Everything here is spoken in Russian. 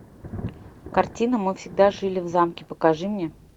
картина мы всегда жили в замке покажи мне